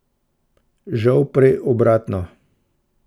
Žal prej obratno.